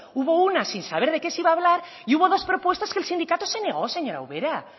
hubo una sin saber de qué se iba a hablar y hubo dos propuestas que el sindicato se negó señora ubera